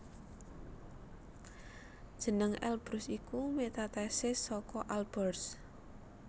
Jeneng Elbrus iku metathesis saka Alborz